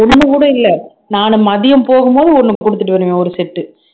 ஒண்ணு கூட இல்லை நானு மதியம் போகும்போது ஒண்ணு கொடுத்துட்டு வருவேன் ஒரு set உ